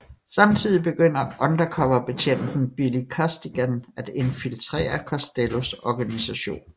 Samtidig begynder undercover betjenten Billy Costigan at infiltrere Costellos organisation